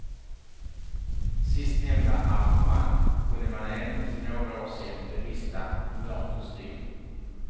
Sistnämnda arrangemang kunde man ännu för några år sen bevista i mörk kostym.